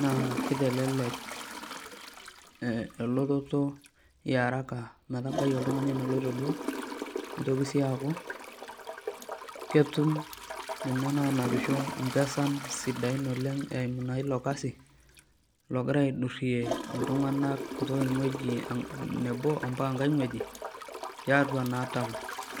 naa kitelelek elototo iaraka ometabai oltung'ani eneloito duo, nitoki si aku, ketum nena nanapisho mpesan sidain oleng eimu naa ilokasi, logira aidurrie iltung'anak kutoka eng'ueji nebo ompaka enkae ng'ueji, tiatua naa taon.